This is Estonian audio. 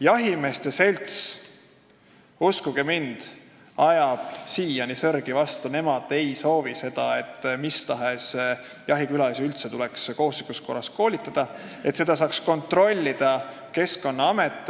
Jahimeeste selts, uskuge mind, ajab siiani sõrgu vastu, nemad ei soovi seda, et mis tahes jahikülalisi tuleks üldse kohustuslikus korras koolitada ja et seda saaks kontrollida Keskkonnaamet.